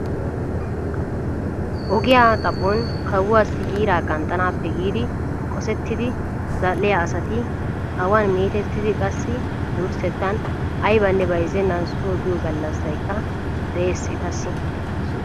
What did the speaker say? Ogiyaa xaphon kawuaassi giiraa qanxxanaappe giidi qosettidi zal"iyaa asati awaan meetettiidi qassi wurssettan aybanne bayzzenan soo biyoo gallasaykka de'ees etassi.